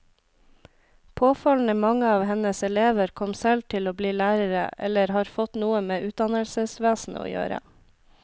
Påfallende mange av hennes elever kom selv til å bli lærere eller har fått noe med utdannelsesvesenet å gjøre.